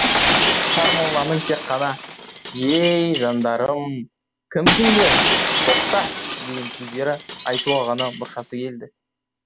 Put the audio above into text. сармолланың тек қана ей жандарым кімсіңдер тоқта деген сөздерді айтуға ғана мұршасы келді